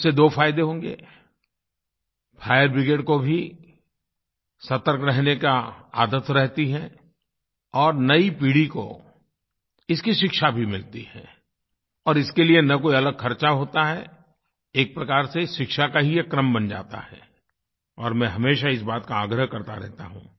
उससे दो फायदे होंगे फायर ब्रिगेड को भी सतर्क रहने की आदत रहती है और नयी पीढ़ी को इसकी शिक्षा भी मिलती है और इसके लिए न कोई अलग खर्चा होता है एक प्रकार से शिक्षा का ही एक क्रम बन जाता है और मैं हमेशा इस बात का आग्रह करता रहता हूँ